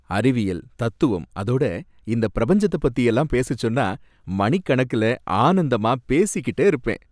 அறிவியல், தத்துவம் அதோட இந்த பிரபஞ்சத்த பத்தியெல்லாம் பேசச்சொன்னா மணிக்கணக்குல ஆனந்தமா பேசிக்கிட்டே இருப்பேன்.